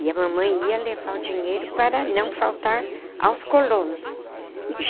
E a mamãe ia levar o dinheiro para não faltar aos colonos.